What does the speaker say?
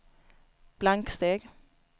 blanksteg